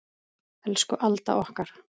Elsku Alda okkar.